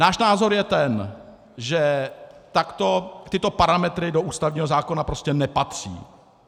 Náš názor je ten, že tyto parametry do ústavního zákona prostě nepatří.